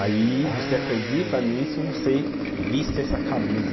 Aí, você acredita nisso, você viste essa camisa.